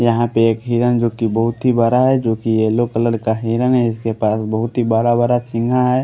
यहाँ पे एक हिरण जोकि बहुत ही बरा है जोकि येलो कलर का हिरन है इसके पास बहुत ही बरा बरा सिंघा है।